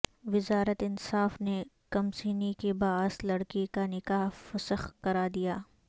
وزارت انصاف نے کمسنی کے باعث لڑکی کا نکاح فسخ کرا دیا